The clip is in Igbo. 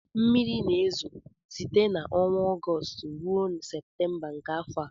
mmiri na-ezo site n'ọnwa Ọgọst ruo Septemba nke afọ a